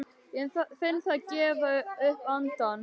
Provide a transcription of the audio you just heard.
Ég finn það gefa upp andann.